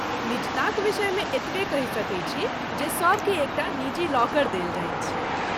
निजताक विषयमे एतबे कहि सकैत छी जे सभके एकटा निजी लॉकर देल जाइत छै।